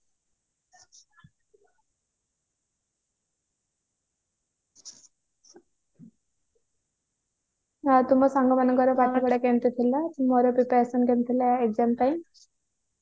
ଆଉ ତୁମ ସାଙ୍ଗ ମାନଙ୍କର ପାଠ ପଢା କେମିତି ଥିଲା ତୁମର preparation କେମିତି ଥିଲା exam ପାଇଁ